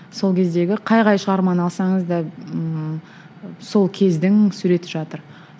сол кездегі қай қай шығарманы алсаңыз да ыыы сол кездің суреті жатыр